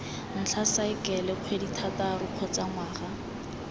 ntlha saekele kgwedithataro kgotsa ngwaga